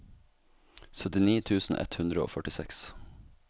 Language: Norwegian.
syttini tusen ett hundre og førtiseks